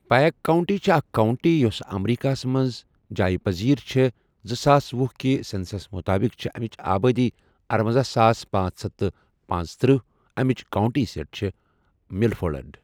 Pike county چھےٚ اَکھ county یۄس اَمریکہس مَنٛز جایہِ پٕزیٖر چھےٚ زٕساس وُہ کہِ سَؠنسَس مُطٲبِق چھےٚ اَمِچ آبٲدی ارۄنزہَ ساس پانژہ ہتھ پنژتٔرہ اَمِچ کَونٹی سِیٖٹ چھےٚ مِلفولڈ۔